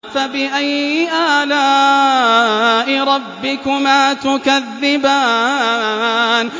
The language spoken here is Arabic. فَبِأَيِّ آلَاءِ رَبِّكُمَا تُكَذِّبَانِ